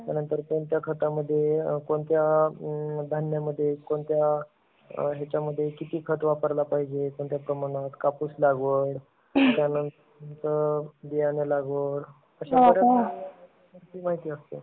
त्यानंतर कोणत्या खाता मध्ये, कोणत्या धान्य मध्ये, कोणत्या ह्याचा मध्ये किती खत वापरला पाहिजे? त्या प्रमाणात कापूस लागवण , त्यानंतर बियाणं लागवड, त्याच्यानंतर अशी माहिती असते.